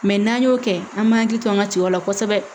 Mɛ n'an y'o kɛ an b'an hakili to an ka cɛw la kosɛbɛ